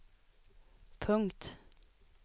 punkt